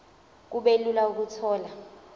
kube lula ukuthola